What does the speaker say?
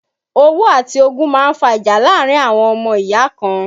Owó àti ogún máa ń fa ìjà láàárín àwọn ọmọ ìyá kan